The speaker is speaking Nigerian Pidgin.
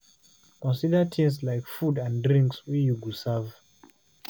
Consider things like food and drinks wey you go serve